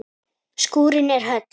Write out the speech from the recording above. Skúrinn er höll.